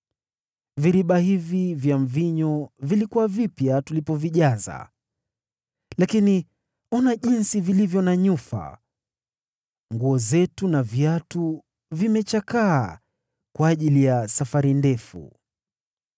Viriba hivi vya mvinyo vilikuwa vipya tulipovijaza, lakini ona jinsi vilivyo na nyufa. Nguo zetu na viatu vimechakaa kwa ajili ya safari ndefu.”